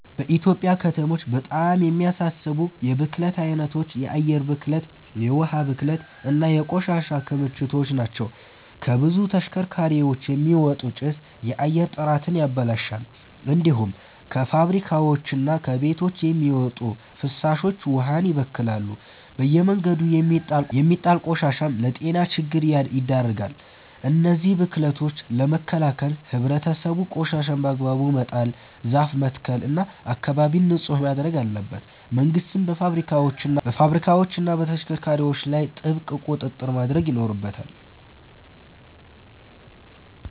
በኢትዮጵያ ከተሞች በጣም የሚያሳስቡ የብክለት አይነቶች የአየር ብክለት፣ የውሃ ብክለት እና የቆሻሻ ክምችት ናቸው። ከብዙ ተሽከርካሪዎች የሚወጣ ጭስ የአየር ጥራትን ያበላሻል። እንዲሁም ከፋብሪካዎችና ከቤቶች የሚወጡ ፍሳሾች ውሃን ይበክላሉ። በየመንገዱ የሚጣል ቆሻሻም ለጤና ችግር ይዳርጋል። እነዚህን ብክለቶች ለመከላከል ህብረተሰቡ ቆሻሻን በአግባቡ መጣል፣ ዛፍ መትከል እና አካባቢን ንጹህ ማድረግ አለበት። መንግስትም በፋብሪካዎችና በተሽከርካሪዎች ላይ ጥብቅ ቁጥጥር ማድረግ ይኖርበታል።